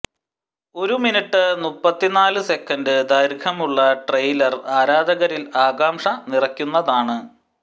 ഒരു മിനിട്ട് മുപ്പത്തിനാല് സെക്കൻഡ് ദൈർഘ്യമുള്ള ട്രെയിലർ ആരാധകരിൽ ആകാംഷ നിറയ്ക്കുന്നതാണ്